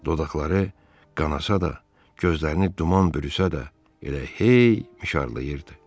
Dodaqları qanasa da, gözlərini duman bürüsə də, elə hey mişarlayırdı.